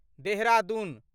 Dehradun